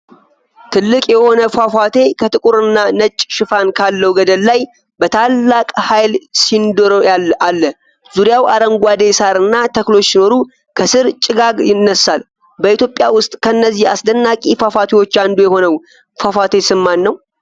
ትልቅ የሆነ ፏፏቴ ከጥቁር እና ነጭ ሽፋን ካለው ገደል ላይ በታላቅ ኃይል ሲንዶሪ አለ። ዙሪያው አረንጓዴ ሳር እና ተክሎች ሲኖሩ፣ ከስር ጭጋግ ይነሳል። በኢትዮጵያ ውስጥ ከነዚህ አስደናቂ ፏፏቴዎች አንዱ የሆነው ፏፏቴ ስም ማን ነው?